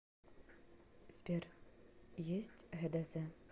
сбер есть гдз